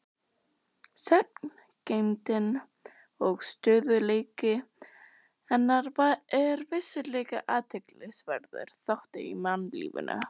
Sagngeymdin og stöðugleiki hennar er vissulega athyglisverður þáttur í mannlífinu.